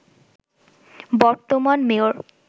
বর্তমান মেয়র